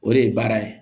O de ye baara ye